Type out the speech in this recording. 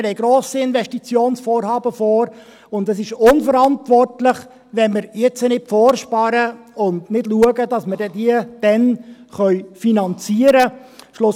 Wir haben grosse Investitionsvorhaben vor, und es ist unverantwortlich, wenn wir jetzt nicht vorsparen und schauen, dass wir diese dann werden finanzieren können.